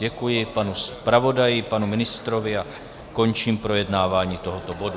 Děkuji panu zpravodaji, panu ministrovi a končím projednávání tohoto bodu.